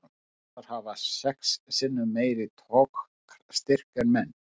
Simpansar hafa sex sinnum meiri togstyrk en menn.